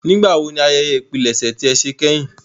Nigbawo ni àyẹyẹ ìpilẹṣẹ ti e ṣe kehin?